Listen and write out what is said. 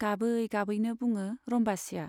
गाबै गाबैनो बुङो रम्बासीया।